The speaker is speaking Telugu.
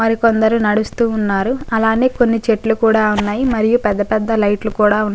మరికొందరు నడుస్తూ ఉన్నారు అలానే కొన్ని చెట్లు కూడా ఉన్నాయి మరియుపెద్ద పెద్ద లైట్ లు కూడా ఉన్నాయి.